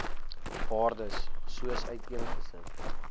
waardes soos uiteengesit